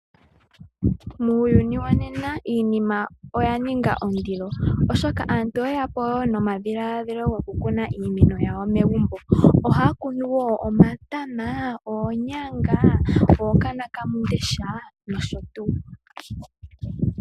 Muuyuni wonena iinima oya ninga ondilo, onkee aantu oye ya po nomadhiladhilo gokukuna iimeno yawo megumbo. Ohaya kuno wo omatama, oonyanga , ookanonakamundesha nosho tuu.